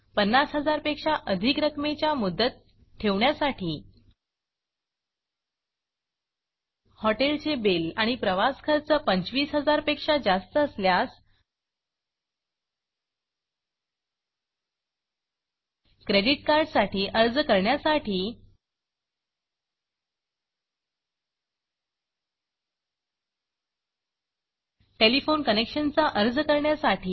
50000 पेक्षा अधिक रकमेच्या मुदत ठेवींसाठी हॉटेलचे बिल आणि प्रवासखर्च 25000 पेक्षा जास्त असल्यास क्रेडिट कार्डसाठी अर्ज करण्यासाठी टेलिफोन कनेक्शनचा अर्ज करण्यासाठी